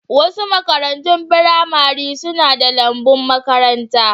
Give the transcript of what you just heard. Wasu makarantun firamare suna da lambun makaranta.